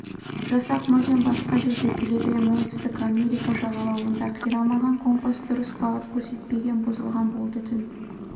жасақ мүлдем басқа жерде пилигрим оңтүстік америка жағалауында қирамаған компас дұрыс бағыт көрсетпеген бұзылған болды түн